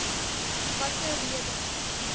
watter rede